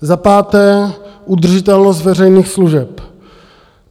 Za páté - udržitelnost veřejných služeb.